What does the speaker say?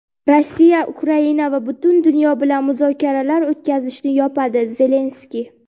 Rossiya Ukraina va butun dunyo bilan muzokaralar o‘tkazishni yopadi – Zelenskiy.